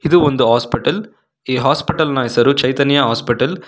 ಇದು ಒಂದು ಹಾಸ್ಪಿಟಲ್ ಈ ಹಾಸ್ಪಿಟಲ್ ನ ಹೆಸರು ಚೈತನ್ಯ ಹಾಸ್ಪಿಟಲ್ .